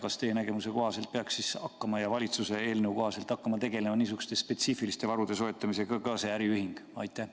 Ja kas teie nägemuse kohaselt ja valitsuse eelnõu kohaselt peaks niisuguste spetsiifiliste varude soetamisega ka tegelema see äriühing?